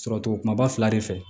Sɔrɔ cogo kuma fila de fɛ